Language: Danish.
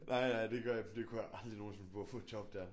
Nej nej det gør det kunne jeg aldrig nogensinde finde på at få et job dér